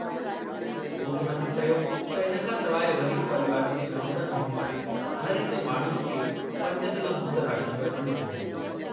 मुख्यमंत्री चयो त इन खां सवाइ ग़रीब परीवारनि खे नवंबर महिने ताईं हर हिक माण्हूअ खे पंज किलो मुफ़्त राशन बि डि॒नो वेंदो।